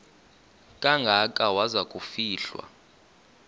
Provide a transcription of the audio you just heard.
kangaka waza kufihlwa